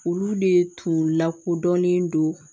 Olu de tun lakodɔnnen don